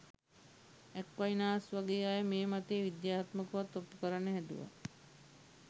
Aquinas වගේ අය මේ මතය විද්‍යාත්මකවත් ඔප්පු කරන්න හැදුවා.